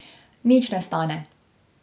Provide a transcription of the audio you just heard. Nič ne stane.